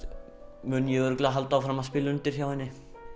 mun ég örugglega halda áfram að spila undir hjá henni